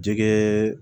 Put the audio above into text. Jɛgɛ